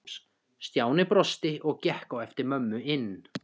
Stjáni brosti og gekk á eftir mömmu inn.